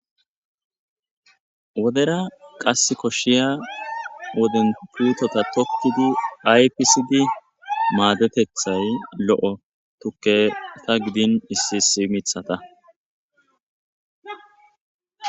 Wodera qas koshshiya woden putota tokkidi aypisdi maadetethay lo7o tukke ta gidin issisi mithata.